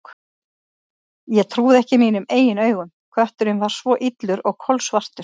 Ég trúði ekki mínum eigin augum: kötturinn var svo illur og kolsvartur.